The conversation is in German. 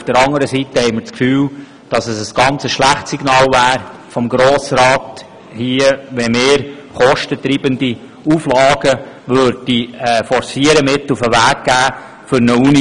Zudem haben wir das Gefühl, es wäre ein sehr schlechtes Signal des Grossen Rats, wenn wir hier kostentreibende Auflagen forcieren und der Universität mit auf den Weg geben würden.